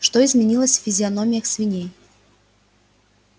что изменилось в физиономиях свиней